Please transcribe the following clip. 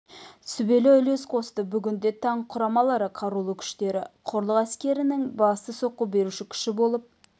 сүбелі үлес қосты бүгінде танк құрамалары қарулы күштері құрлық әскерлерінің басты соққы беруші күші болып